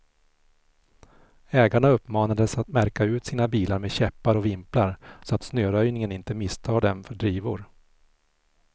Ägarna uppmanades att märka ut sina bilar med käppar och vimplar, så att snöröjningen inte misstar dem för drivor.